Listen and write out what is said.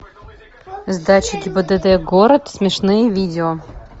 сдача гибдд город смешные видео